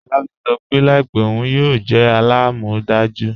Olabisi sọ́ pe laípẹ̀ ọun yóò jẹ́ àlàmọ́dàjú.